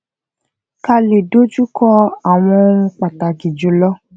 ká lè dojú kọ àwọn ohun pàtàkì jùlọ